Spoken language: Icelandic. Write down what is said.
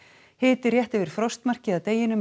hiti rétt yfir frostmarki að deginum en